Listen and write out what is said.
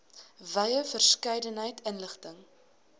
wye verskeidenheid inligting